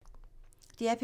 DR P3